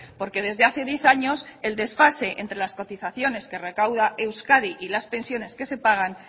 porque desde hace diez años el desfase entre las cotizaciones que recauda euskadi y las pensiones que se pagan